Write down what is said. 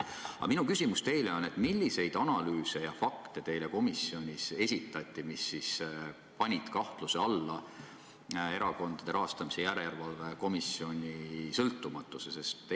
Aga minu küsimus teile on: milliseid selliseid analüüse ja fakte teile komisjonis esitati, mis panid kahtluse alla Erakondade Rahastamise Järelevalve Komisjoni sõltumatuse?